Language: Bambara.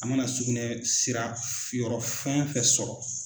An mana sugunɛ sira yɔrɔ fɛn o fɛn sɔrɔ.